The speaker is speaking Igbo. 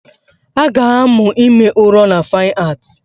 A ga-amụ ime ụrọ na Fine Art